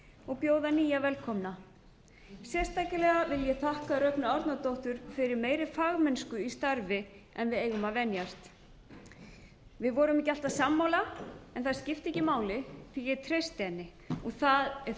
og bjóða nýja velkomna sérstaklega vil ég þakka rögnu árnadóttur fyrir meiri fagmennsku í starfi en við eigum að venjast við vorum ekki alltaf sammála en það skipti ekki máli því að ég treysti henni og það er